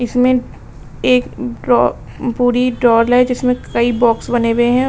इसमें एक ड्रॉ पूरी जिसमें कई बॉक्स बने हुए हैं।